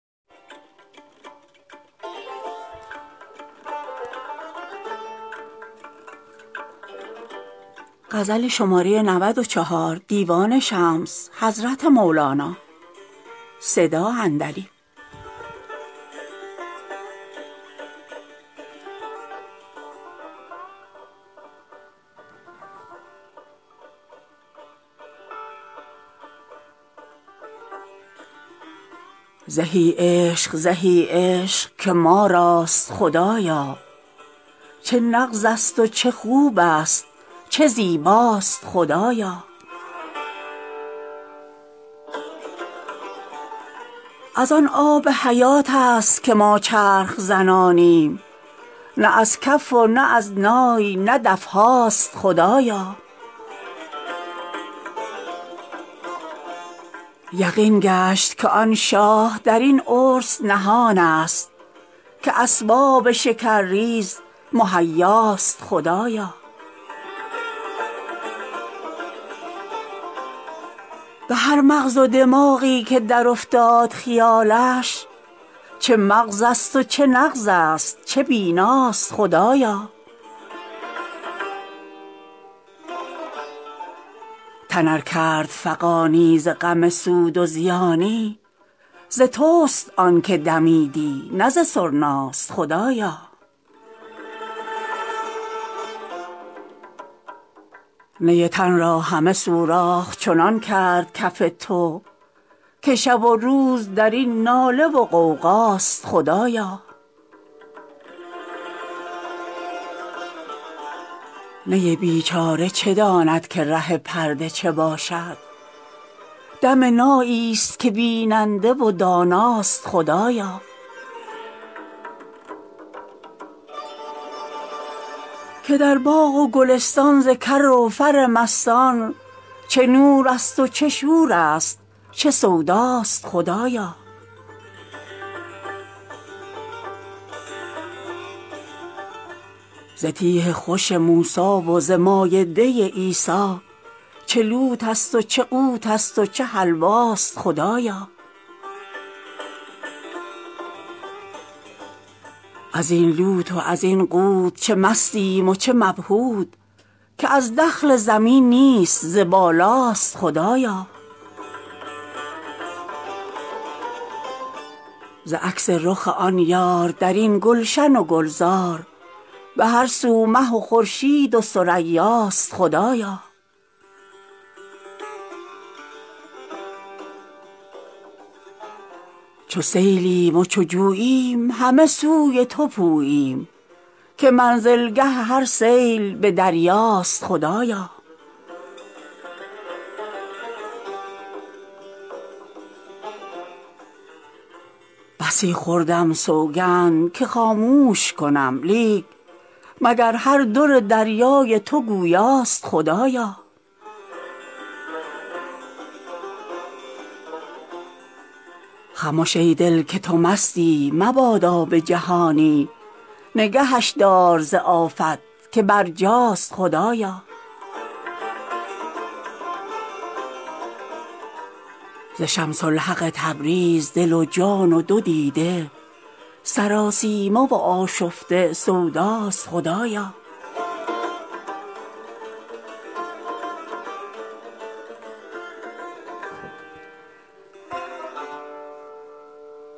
زهی عشق زهی عشق که ما راست خدایا چه نغزست و چه خوبست و چه زیباست خدایا از آن آب حیاتست که ما چرخ زنانیم نه از کف و نه از نای نه دف هاست خدایا یقین گشت که آن شاه در این عرس نهانست که اسباب شکرریز مهیاست خدایا به هر مغز و دماغی که درافتاد خیالش چه مغزست و چه نغزست چه بیناست خدایا تن ار کرد فغانی ز غم سود و زیانی ز تست آنک دمیدن نه ز سرناست خدایا نی تن را همه سوراخ چنان کرد کف تو که شب و روز در این ناله و غوغاست خدایا نی بیچاره چه داند که ره پرده چه باشد دم ناییست که بیننده و داناست خدایا که در باغ و گلستان ز کر و فر مستان چه نورست و چه شورست چه سوداست خدایا ز تیه خوش موسی و ز مایده عیسی چه لوتست و چه قوتست و چه حلواست خدایا از این لوت و زین قوت چه مستیم و چه مبهوت که از دخل زمین نیست ز بالاست خدایا ز عکس رخ آن یار در این گلشن و گلزار به هر سو مه و خورشید و ثریاست خدایا چو سیلیم و چو جوییم همه سوی تو پوییم که منزلگه هر سیل به دریاست خدایا بسی خوردم سوگند که خاموش کنم لیک مگر هر در دریای تو گویاست خدایا خمش ای دل که تو مستی مبادا به جهانی نگهش دار ز آفت که برجاست خدایا ز شمس الحق تبریز دل و جان و دو دیده سراسیمه و آشفته سوداست خدایا